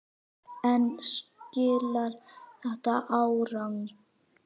En skilar þetta árangri?